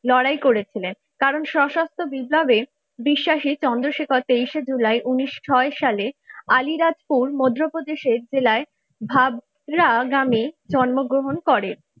লড়াই করেছিলেন কারণ সশস্ত্র বিপ্লবের বিশ্বাসী চন্দ্রশেখর তেইশে জুলাই উনিশশো ছয় সালের আলিরাজপুর মধ্যপ্রদেশের জেলায় ভাওরা গ্রামে জন্মগ্রহণ করেন।